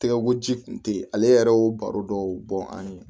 Tɛgɛ ko ji kun tɛ yen ale yɛrɛ y'o baro dɔw bɔn an ye